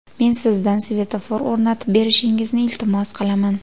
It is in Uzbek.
Men sizdan svetofor o‘rnatib berishingizni iltimos qilaman.